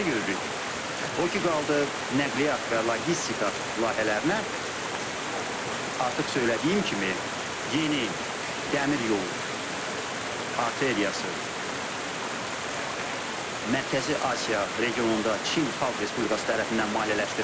O ki qaldı nəqliyyat və logistika layihələrinə, artıq söylədiyim kimi, yeni dəmir yolu arteriyası Mərkəzi Asiya regionunda Çin Xalq Respublikası tərəfindən maliyyələşdirilir.